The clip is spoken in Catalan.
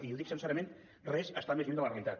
i ho dic sincerament res està més lluny de la realitat